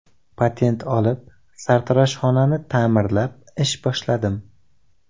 Patent olib, sartaroshxonani ta’mirlab ish boshladim.